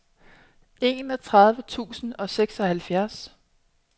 enogtredive tusind og seksoghalvfjerds